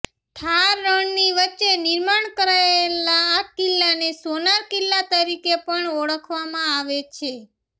થાર રણની વચ્ચે નિર્માણ કરાયેલા આ કિલ્લાને સોનાર કિલ્લા તરીકે પણ ઓળખવામાં આવે છે